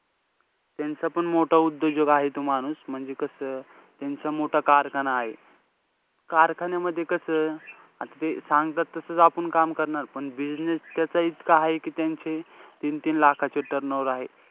त्यांचं पण मोठा उद्योजक आहे इथं माणूस. म्हणजे कसं त्यांचा मोठा कारखाना आहे. कारखान्यामध्ये कसं आता ते सांगतात तसंच आपुन काम करणार. पण business त्याच इतका आहे कि त्यांची तीन-तीन लाखांचे turnover आहे.